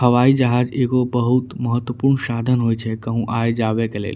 हवाई जहाज एगो बहुत महत्तवपूर्ण साधन होई छे कहु आये जावे के लेल।